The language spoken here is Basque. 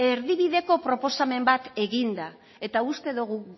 erdibideko proposamen bat eginda eta uste dugu